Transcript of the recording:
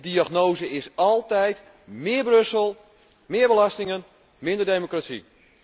En de diagnose is altijd meer Brussel, meer belastingen, minder democratie.